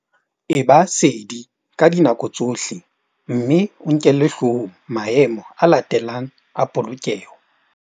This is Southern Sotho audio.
E ba sedi ka dinako tsohle mme o nkele hloohong maemo a latelang a polokeho.